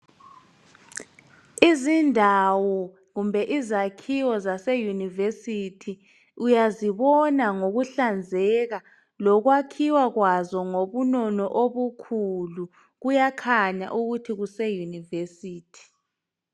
Izindawo kumbe izakhiwo zaseyunivesithi, uyazibona ngokuhlanzeka lokuyakhiwa kwazo ngobunono ubukhulu. Kuyakhanya ukuthi kuseyunisithi.